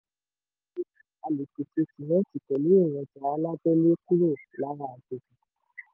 dájúdájú a lè pèsè símẹ́ǹtì pẹ̀lú èròjà alábẹ́lé kúrò lára àjèjì.